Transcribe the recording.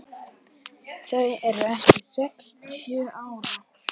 Þau eru eftir sextíu ár.